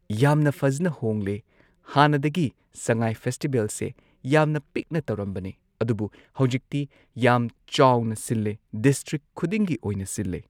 ꯌꯥꯝꯅ ꯐꯖꯅ ꯍꯣꯡꯂꯦ ꯍꯥꯟꯅꯗꯒꯤ ꯁꯉꯥꯏ ꯐꯦꯁꯇꯤꯕꯦꯜꯁꯦ ꯌꯥꯝꯅ ꯄꯤꯛꯅ ꯇꯧꯔꯝꯕꯅꯦ ꯑꯗꯨꯕꯨ ꯍꯧꯖꯤꯛꯇꯤ ꯌꯥꯝ ꯆꯥꯎꯅ ꯁꯤꯜꯂꯦ ꯗꯤꯁꯇ꯭ꯔꯤꯛ ꯈꯨꯗꯤꯡꯒꯤ ꯑꯣꯏꯅ ꯁꯤꯜꯂꯦ꯫